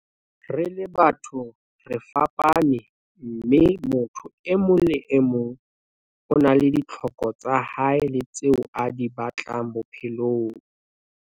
Re le batho, re fapane, mme motho e mong le e mong o na le ditlhoko tsa hae le tseo a di batlang bophelong.